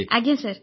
ଆଜ୍ଞା ସାର୍